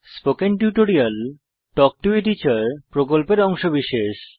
spoken tutorial talk to a teacher প্রকল্পের অংশবিশেষ